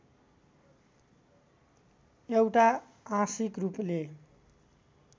एउटा आंशिक रूपले